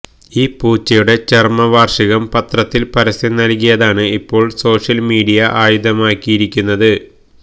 ഈ പൂച്ചയുടെ ചരമവാര്ഷികം പത്രത്തില് പരസ്യം നല്കിയതാണ് ഇപ്പോള് സോഷ്യല് മീഡിയ ആയുധമാക്കിയിരിക്കുന്നത്